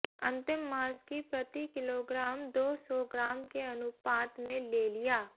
अंतिम मांस की प्रति किलोग्राम दो सौ ग्राम के अनुपात में ले लिया